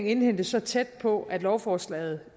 indhentes så tæt på at lovforslaget